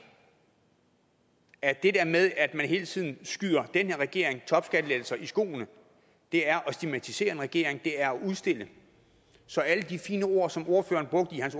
at det der med at man hele tiden skyder den her regering topskattelettelser i skoene er at stigmatisere en regering det er at udstille den så alle de fine ord som ordføreren brugte i